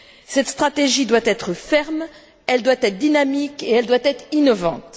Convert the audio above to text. Cette stratégie doit être ferme, elle doit être dynamique et elle doit être innovante.